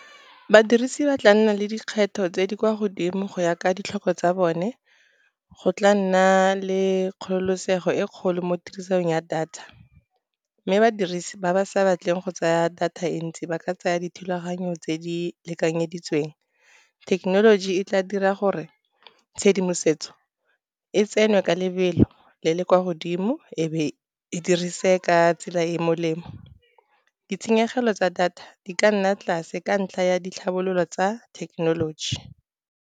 Badirisi ba tla nna le dikgetho tse di kwa godimo go ya ka ditlhoko tsa bone, go tla nna le kgololosego e kgolo mo tirisong ya data. Mme badirisi ba ba sa batleng go tsaya data e ntsi ba ka tsaya dithulaganyo tse di lekanyeditsweng. Thekenoloji e tla dira gore tshedimosetso e tsenwe ka lebelo le le kwa godimo, e be e dirise ka tsela e e molemo. Ditshenyegelo tsa data di ka nna tlase ka ntlha ya ditlhabololo tsa thekenoloji.